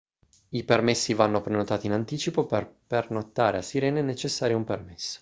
i permessi vanno prenotati in anticipo per pernottare a sirena è necessario un permesso